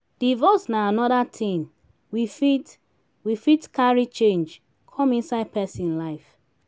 divorce na anoda thing we fit we fit carry change come inside person life